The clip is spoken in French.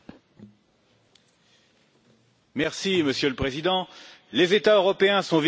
Monsieur le Président, les États européens sont victimes d'un déferlement migratoire sans précédent.